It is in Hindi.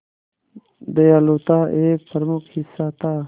दयालुता एक प्रमुख हिस्सा था